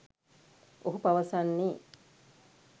ඔහු පවසන්නේ